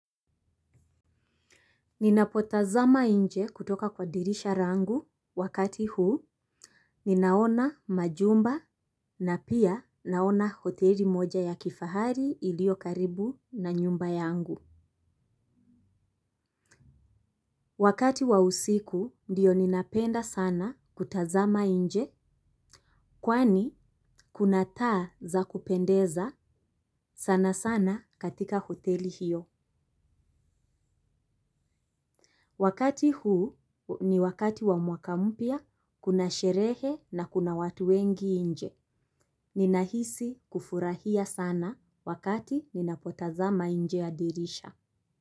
Ninapotazama nje kutoka kwa dirisha langu wakati huu ninaona majumba na pia naona hoteli moja ya kifahari ilio karibu na nyumba yangu. Wakati wa usiku ndiyo ninapenda sana kutazama nje. Kwani kuna taa za kupendeza sana sana katika hoteli hiyo. Wakati huu ni wakati wa mwaka mpya kuna sherehe na kuna watu wengi nje. Ninahisi kufurahia sana wakati ninapotazama nje ya dirisha.